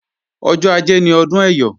Ọjọ́ ajé ni ọdún Ẹyọ̀